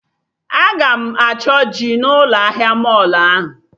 Aga m achọ ji na ụlọ ahịa mọlụ ahụ